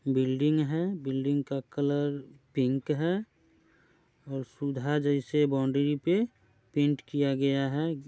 Building है building का colour pink है और सुधा जैसे बाउंड्री पे पेंट किया गया है ।